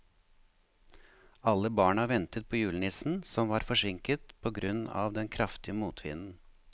Alle barna ventet på julenissen, som var forsinket på grunn av den kraftige motvinden.